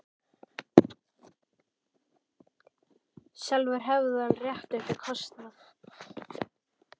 Sjálfur hefði hann rétt upp í kostnað.